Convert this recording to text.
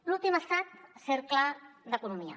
l’últim ha estat el cercle d’economia